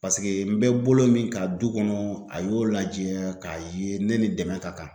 n bɛ bolo min ka du kɔnɔ a y'o lajɛ k'a ye ne ni dɛmɛ ka kan